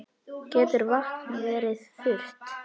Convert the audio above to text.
Getur vatn verið þurrt?